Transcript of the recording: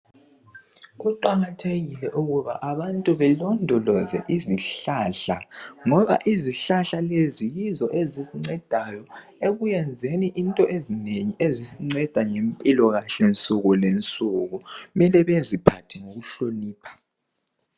Kuqakathekile ukuba abantu belondoloze izihlahla ngoba izihlahla lezi yizo ezisincedayo ekuyenzeni into ezinengi ezisinceda ngempilo kahle nsuku lensuku mele beziphathe ngokuhlonipha.